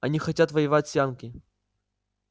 они хотят воевать с янки